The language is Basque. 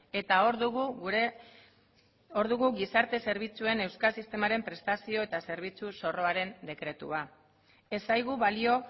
eta hor dugu gure hor dugu gizarte zerbitzuen euskal sistemaren prestazio eta zerbitzu zorroaren dekretua ez zaigu balio